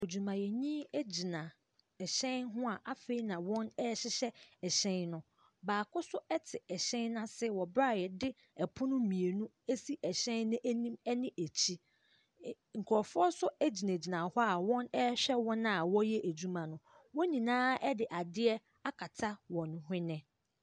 Odwinayɛni gyina ɛhyɛn ho a afei na wɔrehyehɛ ɛhyɛn no. Baako nso te ɛhyɛn no ase wɔ berɛ a wɔde pono mmienu asi ɛhyɛn no anim ne akyire. Nkurɔfoɔ nso gyinagyina hɔ a wɔrehwɛ wɔn a wɔreyɛ adwuma no. wɔn nyinaa de adeɛ akata wɔn hwene.